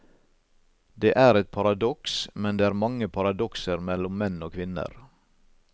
Det er et paradoks, men det er mange paradokser mellom menn og kvinner.